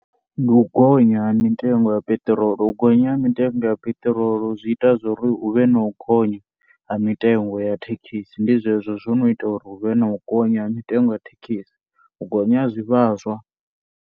Ndi u gonya ha mitengo ya peṱirolo u gonya ha mitengo ya peṱirolo zwi ita zwori huvhe na u gonya ha mitengo ya thekhisi, ndi zwezwo zwo no ita uri huvhe na u gonya ha mitengo ya thekhisi u gonya ha zwivhaswa.